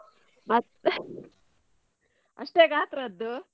ಮತ್ತೆ ಅಷ್ಟೇ ಗಾತ್ರದ್ದು.